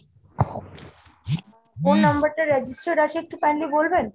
কোন number টা register আছে একটু kindly বলবেন ?